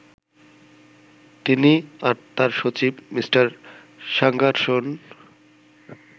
তিনি আর তাঁর সচিব মিঃ স্যাঙ্গারসন